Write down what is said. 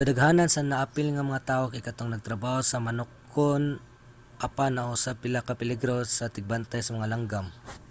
kadaghanan sa naapil nga mga tawo kay kadtong nagtrabaho sa manokan apan naa usab pila ka peligro sa tigbantay sa mga langgam